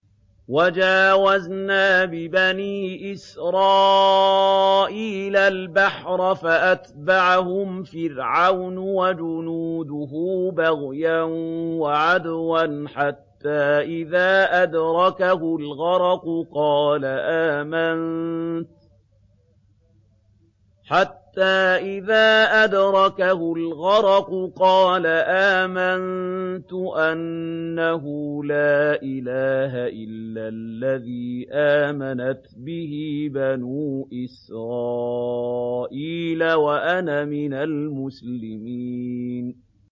۞ وَجَاوَزْنَا بِبَنِي إِسْرَائِيلَ الْبَحْرَ فَأَتْبَعَهُمْ فِرْعَوْنُ وَجُنُودُهُ بَغْيًا وَعَدْوًا ۖ حَتَّىٰ إِذَا أَدْرَكَهُ الْغَرَقُ قَالَ آمَنتُ أَنَّهُ لَا إِلَٰهَ إِلَّا الَّذِي آمَنَتْ بِهِ بَنُو إِسْرَائِيلَ وَأَنَا مِنَ الْمُسْلِمِينَ